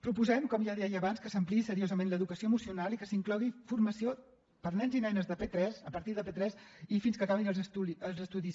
proposem com ja deia abans que s’ampliï seriosament l’educació emocional i que s’inclogui formació per a nens i nenes de p3 a partir de p3 i fins que acabin els estudis